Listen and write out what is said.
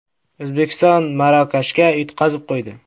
O‘zbekiston Marokashga yutqazib qo‘ydi.